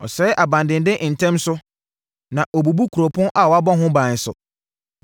Ɔsɛe abandenden ntɛm so na ɔbubu kuropɔn a wɔabɔ ho ban nso,